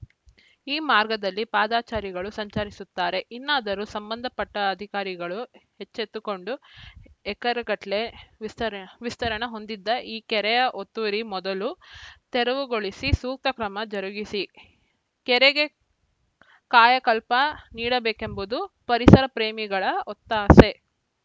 ಈ ಮಾರ್ಗದಲ್ಲಿ ಪಾದಾಚಾರಿಗಳು ಸಂಚರಿಸುತ್ತಾರೆ ಇನ್ನಾದರೂ ಸಂಬಂಧಪಟ್ಟ ಅಧಿಕಾರಿಗಳು ಎಚ್ಚೆತ್ತುಕೊಂಡು ಎಕರೆಗಟ್ಟಲೇ ವಿಸ್ತರ ವಿಸ್ತರಣ ಹೊಂದಿದ್ದ ಈ ಕೆರೆಯ ಒತ್ತುವರಿ ಮೊದಲು ತೆರವುಗೊಳಿಸಿ ಸೂಕ್ತ ಕ್ರಮ ಜರುಗಿಸಿ ಕೆರೆಗೆ ಕಾಯಕಲ್ಪ ನೀಡಬೇಕೆಂಬುದು ಪರಿಸರಪ್ರೇಮಿಗಳ ಒತ್ತಾಸೆ